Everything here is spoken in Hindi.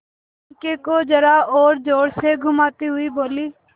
पंखे को जरा और जोर से घुमाती हुई बोली